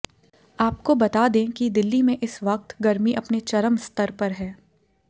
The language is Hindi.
आपको बता दें कि दिल्ली में इस वक्त गर्मी अपने चरम स्तर पर है